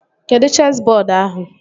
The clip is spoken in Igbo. Kedụ chesị bọọdu ahụ?